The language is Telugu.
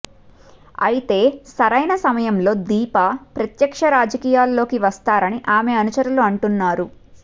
అయితే సరైన సమయంలో దీపా ప్రత్యక్ష రాజకీయాల్లోకి వస్తారని ఆమె అనుచరులు అంటున్నారు